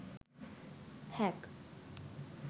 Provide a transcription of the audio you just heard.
hack